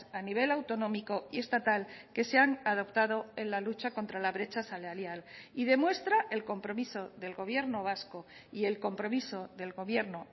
a nivel autonómico y estatal que se han adoptado en la lucha contra la brecha salarial y demuestra el compromiso del gobierno vasco y el compromiso del gobierno